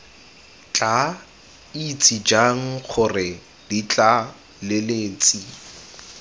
tla itse jang gore ditlaleletsi